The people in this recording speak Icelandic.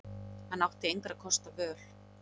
Hann átti engra kosta völ.